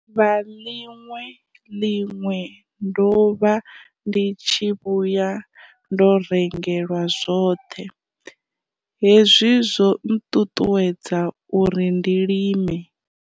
vha ḽiṅwe ḽiṅwe ndo vha ndi tshi vhuya ndo rengelwa zwoṱhe, hezwi zwo nṱuṱuwedza uri ndi lime.